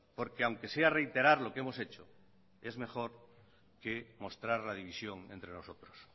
porque aunque sea reiterar lo que hemos hecho es mejor que mostrar la división entre nosotros